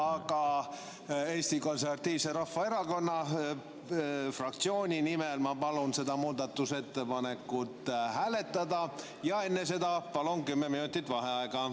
Aga Eesti Konservatiivse Rahvaerakonna fraktsiooni nimel ma palun seda muudatusettepanekut hääletada ja enne seda palun kümme minutit vaheaega.